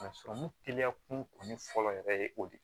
A sɔrɔmu teliya kun fɔlɔ yɛrɛ ye o de ye